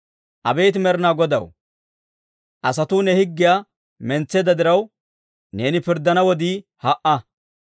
Abeet Med'inaa Godaw, asatuu ne higgiyaa mentseedda diraw, neeni pirddana wodii ha"a.